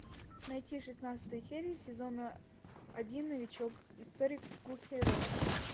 найти шестнадцатую серию сезона один новичок историк гу хэ рен